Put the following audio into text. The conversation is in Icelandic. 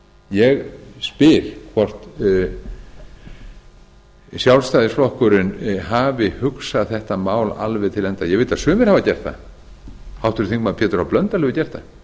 ég spyr hvort sjálfstæðisflokkurinn hafi hugsað þetta mál alveg til enda ég veit að sumir hafa gert það háttvirtur þingmaður pétur h blöndal hefur gert það